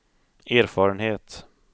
erfarenhet